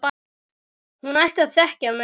Hún ætti að þekkja mig!